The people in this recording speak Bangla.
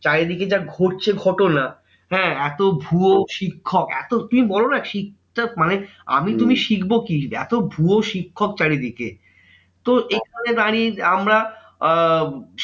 চারিদিকে যা ঘটছে ঘটনা হ্যাঁ এত ভুয়ো শিক্ষক এত তুমি বলোনা মানে আমি তুমি শিখবো কি? এত ভুয়ো শিক্ষক চারিদিকে। তো এখানে দাঁড়িয়ে আমরা আহ